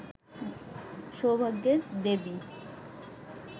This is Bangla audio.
সৌভাগ্যের দেবী